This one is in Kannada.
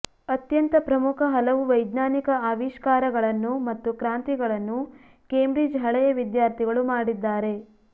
ಅತ್ಯಂತ ಪ್ರಮುಖ ಹಲವು ವೈಜ್ಞಾನಿಕ ಅವಿಷ್ಕಾರಗಳನ್ನು ಮತ್ತು ಕ್ರಾಂತಿಗಳನ್ನು ಕೇಂಬ್ರಿಡ್ಜ್ ಹಳೆಯವಿದ್ಯಾರ್ಥಿಗಳು ಮಾಡಿದ್ದಾರೆ